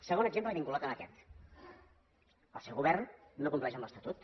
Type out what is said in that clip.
segon exemple i vinculat a aquest el seu govern no compleix l’estatut